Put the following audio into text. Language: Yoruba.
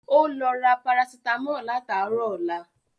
Ó lọ ra Parasítámọ̀ látàárọ̀ ọlá